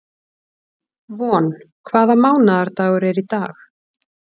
Von, hvaða mánaðardagur er í dag?